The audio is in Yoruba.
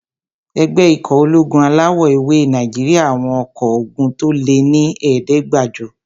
Ẹgbẹ́ ikọ̀ ológun alawọ̀-ewé Nàìjíríyà àwọn ọkọ́ ogun tó lé ní ẹ̀ẹ́dẹ́gbàjọ